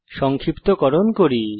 সংক্ষিপ্তকরণ করি